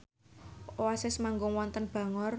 Oasis manggung wonten Bangor